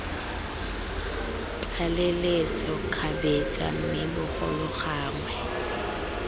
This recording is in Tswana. tlaleletso kgabetsa mme bogolo gangwe